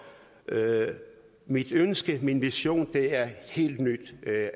mit ønske min vision er et helt nyt